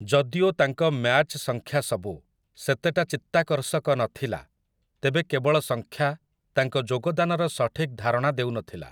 ଯଦିଓ ତାଙ୍କ ମ୍ୟାଚ୍ ସଂଖ୍ୟାସବୁ ସେତେଟା ଚିତ୍ତାକର୍ଷକ ନଥିଲା, ତେବେ କେବଳ ସଂଖ୍ୟା ତାଙ୍କ ଯୋଗଦାନର ସଠିକ୍ ଧାରଣା ଦେଉନଥିଲା ।